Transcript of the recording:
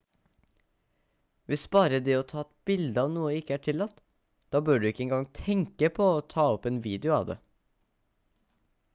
hvis bare det å ta et bilde av noe ikke er tillatt da bør du ikke engang tenke på å ta opp en video av det